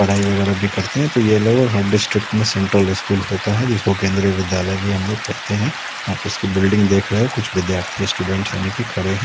पढ़ाई वगैरह भी करते हैं तो ये लगभग हर डिस्ट्रिक्ट में सेंट्रल स्कूल होता है जिसको केंद्रीय विद्यालय भी हम लोग कहते हैं आप उसकी बिल्डिंग देख रहे हो कुछ विद्यार्थी स्टूडेंट्स यानी कि खड़े है।